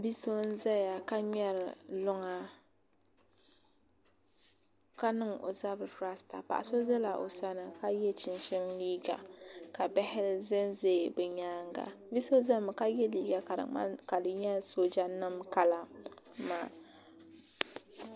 Bia so n ʒɛya ka ŋmɛri luŋa ka niŋ o zabiri rasta paɣa so ʒɛla o sani ka yɛ chinchin liiga ka bihi ʒɛnʒɛ bi nyaanga bia so ʒɛmi ka yɛ liiga ka di nyɛla sooja nim kala maa